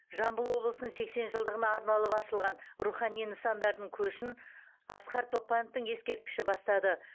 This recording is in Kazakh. жамбыл облысының сексен жылдығына арналып ашылған рухани нысандардың көшін асқар тоқпановтың ескерткіші бастады